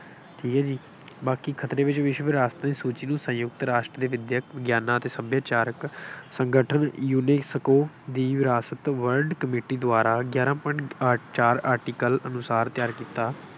ਠੀਕ ਹੈ ਜੀ, ਬਾਕੀ, ਖਤਰੇ ਵਿੱਚ ਵਿਸ਼ਵ ਵਿਰਾਸਤ ਦੀ ਸੂਚੀ ਨੂੰ ਸੰਯੁਕਤ ਰਾਸ਼ਟਰ ਦੇ ਵਿੱਦਿਅਕ ਵਿਗਿਆਨਾਂ ਅਤੇ ਸੱਭਿਆਚਾਰਕ ਸੰਗਠਨ UNESCO ਦੀ ਵਿਰਾਸਤ world committee ਦੁਆਰਾ ਗਿਆਰਾਂ point ਅੱਠ ਚਾਰ article ਅਨੁਸਾਰ ਤਿਆਂਰ ਕੀਤਾ।